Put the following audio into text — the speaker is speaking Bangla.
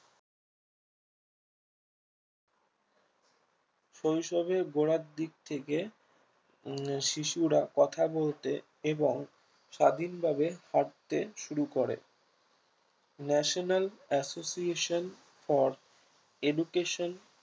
শৈশবের গোড়ার দিক থেকে উম শিশুরা কথা বলতে এবং স্বাধীনভাবে হাঁটতে শুরু করে national association for education